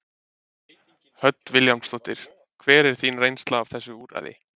Hödd Vilhjálmsdóttir: Hver er þín reynsla af þessu úrræði?